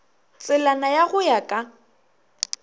tselana ya go ya ka